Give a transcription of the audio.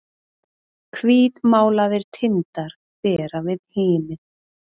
Hvítmálaðir tindar bera við himin